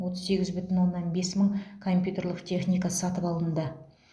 отыз сегіз бүтін оннан бес мың компьютерлік техника сатып алынды